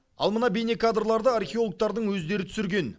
ал мына бейнекадрларды археологтардың өздері түсірген